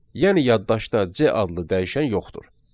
Yəni yaddaşda C adlı dəyişən yoxdur.